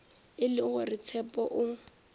e le gore tshepo o